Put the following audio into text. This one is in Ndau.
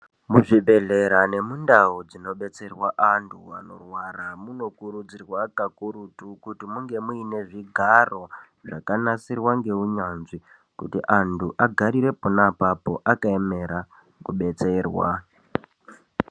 Muchibhehlera nomundau munodetserwa vantu munokurudzirwa kakurutu kuti munge muine zvigaro zvakagadzirwa neunyanzvi kuti vantu vagararire apapo vakaemera kubetserwa